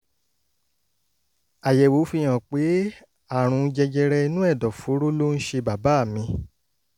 àyẹ̀wò fihàn pé àrùn jẹjẹrẹ inú ẹ̀dọ̀fóró ló ń ṣe bàbá mi